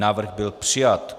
Návrh byl přijat.